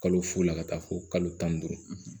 Kalo fo la ka taa fo kalo tan ni duuru